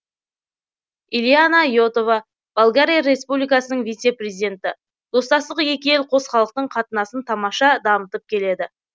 илияна и отова болгария республикасының вице президенті достастық екі ел қос халықтың қатынасын тамаша дамытып келеді